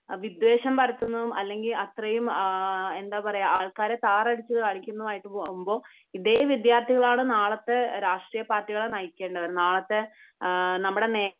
വിദ്വേഷം പരത്തുന്നതും അല്ലെങ്കിൽ അത്രയും എന്താ പറയാ ആൾക്കാരെ താറടിച്ചു കാണിക്കുന്നതുമായിട്ട് പോകുമ്പോൾ ഇതേ വിദ്യാർത്ഥികളാണ് നാളെ നാളത്തെ രാഷ്ട്രീയപാർട്ടികളെ നയിക്കേണ്ടത്. നാളത്തെ നമ്മുടെ നേ